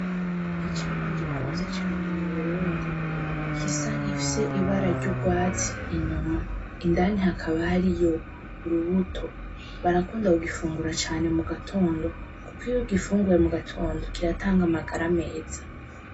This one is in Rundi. Icamwa gikunzwe cane muburundi gisa nkirifise ibara ryurwatsi inyuma, indani hakaba hariyo urubuto. Barakunda kugifungura cane mugatondo kuko iyo ugifunguye mugatondo kiratanga amagara meza.